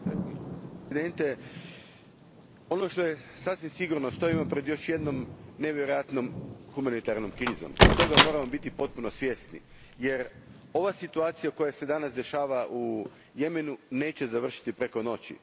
Gospodine predsjedniče, ono što je sasvim sigurno stojimo pred još jednom nevjerojatnom humanitarnom krizom. I toga moramo biti potpuno svjesni. Jer ova situacija koja se danas dešava u Jemenu neće završiti preko noći.